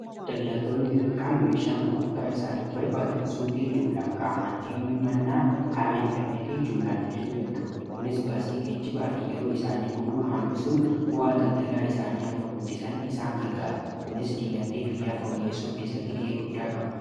daldaltoonni xi xiqqaan meeshaa gudgurtaa isaaniif barbaadan suuqii jumlaan qaamaan deemuu mannaa karaa intarneetii jumlaan ajajuu danda'u kunis baasii geejjibaa fi yeroo isaanii gubuu hambisuun bu'aa daldalaa isaanii akka guddisan isaan gargaar kunis diinagdee biyyaa fawuyeesoo keessatti ga'ee guddaa qaba